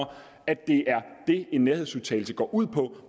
at det er det en nærhedsudtalelse går ud på